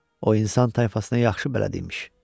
O insan tayfasına yaxşı bələd imiş.